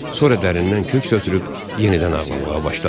Sonra dərindən köks ötürüb yenidən ağlamağa başladı.